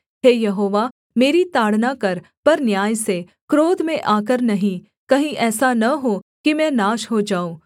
हे यहोवा मेरी ताड़ना कर पर न्याय से क्रोध में आकर नहीं कहीं ऐसा न हो कि मैं नाश हो जाऊँ